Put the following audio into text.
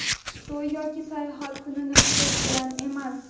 to‘y yoki sayohat kunini kutish bilan emas.